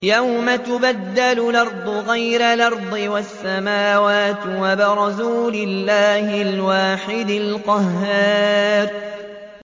يَوْمَ تُبَدَّلُ الْأَرْضُ غَيْرَ الْأَرْضِ وَالسَّمَاوَاتُ ۖ وَبَرَزُوا لِلَّهِ الْوَاحِدِ الْقَهَّارِ